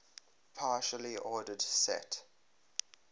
partially ordered set